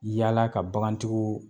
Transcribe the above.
Yaala ka bagan tigiw